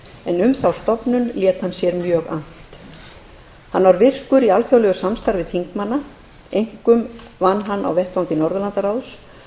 en um þá stofnun lét hann sér mjög annt hann var mjög virkur í alþjóðlegu samstarfi þingmanna einkum vann hann á vettvangi norðurlandaráðs